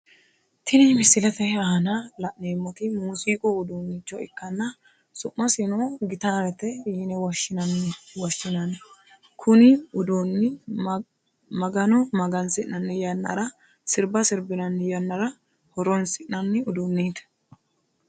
Tinni misilete aanna la'neemoti muuziiqu uduunnicho ikanna su'masino gitaarete yine woshinnanni kunni uduunni magano magasi'nanni yanaranna sirba sirbinaanni yannara horoonsi'nanni uduuneeti.